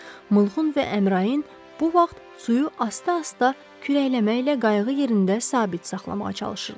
Mılğın və Əmrayın bu vaxt suyu asta-asta kürəkləməklə qayığı yerində sabit saxlamağa çalışırdılar.